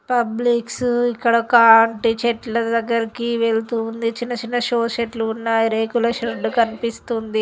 Public's ఇక్కడ ఒక అరటి చెట్ల దగ్గరకు వెళ్తూ ఉన్నది చిన్న చిన్న సోర్ షర్టులు ఉన్నాయి రేకుల షర్టులు కనిపిస్తుంది.